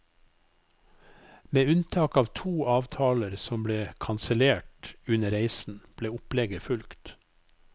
Med unntak av to avtaler som ble kansellert under reisen, ble opplegget fulgt.